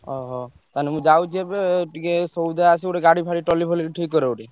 ଓହୋ ତାହେଲେ ମୁଁ ଯାଉଛି ଏବେ ଟିକେ ସଉଦା ଆସିବ ଗୋଟେ ଗାଡି ଫାଡି ଟଲି ଫଲି ଠିକ କର ଗୋଟେ।